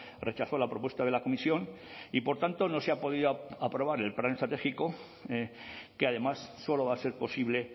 rechazó la propuesta de la comisión y por tanto no se ha podido aprobar el plan estratégico que además solo va a ser posible